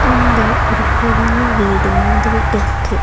அங்க ஒரு பெரிய வீடு மாதிரி இருக்கு.